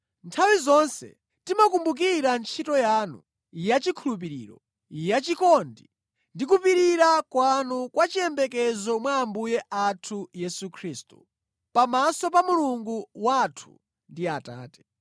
Nthawi zonse timakumbukira ntchito yanu yachikhulupiriro, yachikondi ndi kupirira kwanu kwa chiyembekezo mwa Ambuye athu Yesu Khristu, pamaso pa Mulungu wathu ndi Atate.